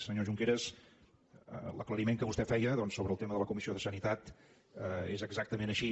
senyor junqueras l’aclariment que vostè feia doncs sobre el tema de la comissió de sanitat és exactament així